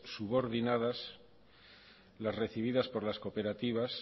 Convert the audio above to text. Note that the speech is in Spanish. subordinadas las recibidas por las cooperativas